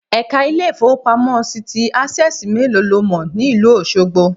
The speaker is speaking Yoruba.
Èka Ilé ìfowópamọ́ sí ti Access méèló lo mò ní ìlú Òsogbo